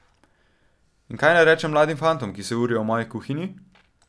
In kaj naj rečem mladim fantom, ki se urijo v moji kuhinji?